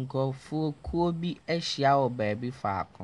Nkurɔfoɔ kuo bi ahyia wɔ baabi faako,